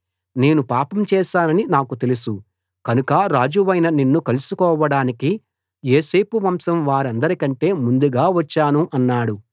నేను పాపం చేశానని నాకు తెలుసు కనుక రాజువైన నిన్ను కలుసుకోవడానికి యోసేపు వంశం వారందరికంటే ముందుగా వచ్చాను అన్నాడు